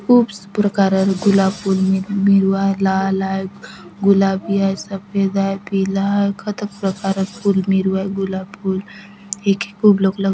खूब प्रकारक गुलाब फूल मे मेरु आय लाल आय गुलाबी आय सफेद आय पीला आय कतक प्रकारक फूल मेरुआ आय गुलाब फूल एक एक खूब लोक लक --